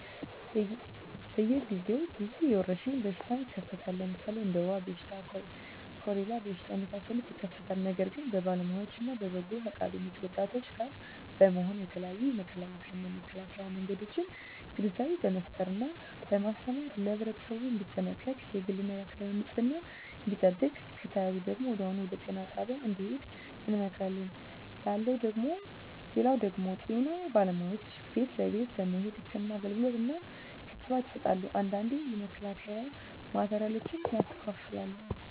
በየ ግዜው ብዙ የወረሽኝ በሽታ ይከሰታል ለምሣሌ እንደ ወባ በሽታ ኮሪላ በሽታ የመሣሠሉት ይከሠታሉ ነገር ግን በባለውያዎች እነ በበጎ ፈቃደኞች ወጣቶች ጋር በመሆን የተለያዮ የመተላለፊያ እና የመከላኪያ መንገዶችን ግንዛቤ በመፍጠር እና በማስተማር ለህብረተሠቡ እንዲጠነቀቅ የግል እና የአካባቢውን ንፅህና እንዲጠብቅ ከተያዙ ደግሞ ወዲያሁኑ ወደጤና ጣቢያ እንድሄዱ እንመክራለን ላለው ደግም ጤና ባለሙያዎች ቤት ለቤት በመሄድ ህክምና አገልግሎት እና ክትባት ይሠጣሉ አንዳንዴ የመከላከያ ማቴሪያሎችን ያከፋፍላሉ